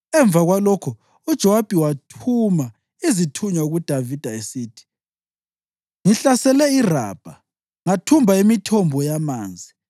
Emva kwalokho uJowabi wathuma izithunywa kuDavida, esithi, “Ngihlasele iRabha ngathumba imithombo yamanzi.